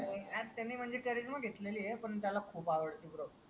त्याने म्हणजे कारीजमा घेतलेली आहे पण त्याला खूप आवडते BRO